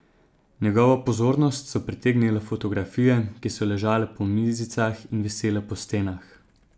Njegovo pozornost so pritegnile fotografije, ki so ležale po mizicah in visele po stenah.